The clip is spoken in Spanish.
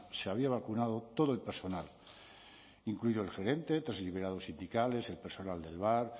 se había vacunado todo el personal incluido el gerente tres liberados sindicales el personal del bar